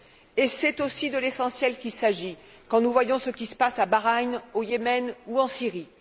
Et c'est aussi de l'essentiel qu'il s'agit quand nous voyons ce qui se passe à Bahreïn, au Yémen ou en Syrie.